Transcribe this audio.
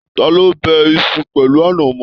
Taló bẹ̀ Isu pẹlu anamọ?